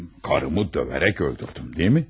Karımı döyərək öldürdüm, deyilmi?